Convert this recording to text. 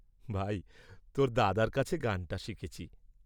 ভাই, তাের দাদার কাছে গানটি শিখেছি।